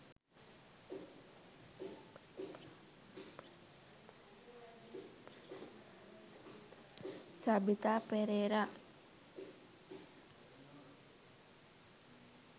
sabeetha perera